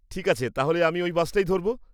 ঠিক আছে, তাহলে আমি ওই বাসটাই ধরব।